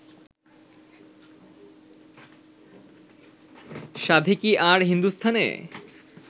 সাধে কি আর হিন্দুস্থানে